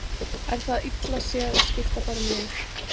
Er það illa séð að skipta bara um lið?